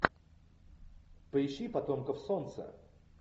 поищи потомков солнца